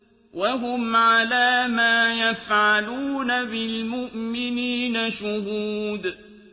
وَهُمْ عَلَىٰ مَا يَفْعَلُونَ بِالْمُؤْمِنِينَ شُهُودٌ